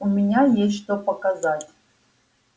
у меня есть что показать